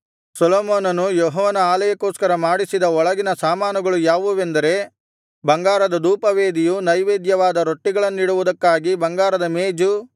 ಸೊಲೊಮೋನನು ಯೆಹೋವನ ಆಲಯಕ್ಕೋಸ್ಕರ ಮಾಡಿಸಿದ ಒಳಗಿನ ಸಾಮಾನುಗಳು ಯಾವುವೆಂದರೆ ಬಂಗಾರದ ಧೂಪವೇದಿಯು ನೈವೇದ್ಯವಾದ ರೊಟ್ಟಿಗಳನ್ನಿಡುವುದಕ್ಕಾಗಿ ಬಂಗಾರದ ಮೇಜು